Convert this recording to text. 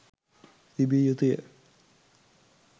තිබිය යුතු ය.